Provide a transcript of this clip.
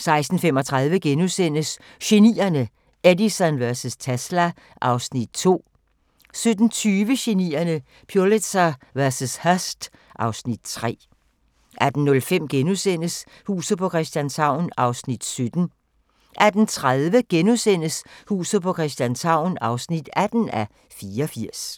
16:35: Genierne: Edison vs. Tesla (Afs. 2)* 17:20: Genierne: Pulitzer vs. Hearst (Afs. 3) 18:05: Huset på Christianshavn (17:84)* 18:30: Huset på Christianshavn (18:84)*